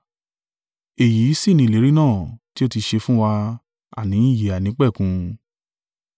Èyí sì ni ìlérí náà tí ó tí ṣe fún wa, àní ìyè àìnípẹ̀kun.